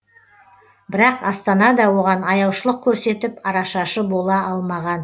бірақ астана да оған аяушылық көрсетіп арашашы бола алмаған